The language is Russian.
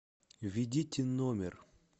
введите номер